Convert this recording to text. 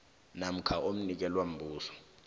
namkha omnikelwa mbuso